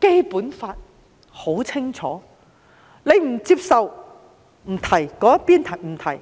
基本法》已經很清楚，但他並不接受，也不提及這些。